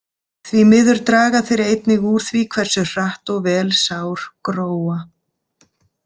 Því miður draga þeir einnig úr því hversu hratt og vel sár gróa.